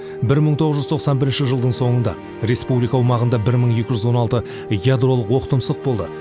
бір мың тоғыз жүз тоқсан бірінші жылдың соңында республика аумағында бір мың екі жүз он алты ядролық оқтұмсық болды